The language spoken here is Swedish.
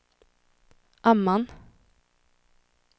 Amman